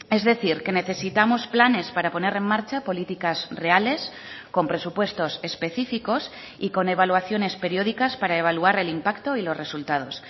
es decir que necesitamos planes para poner en marcha políticas reales con presupuestos específicos y con evaluaciones periódicas para evaluar el impacto y los resultados